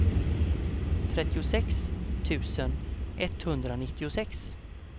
trettiosex tusen etthundranittiosex